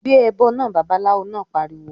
"Gbé ẹbọ náà!", Babaláwo náà pariwo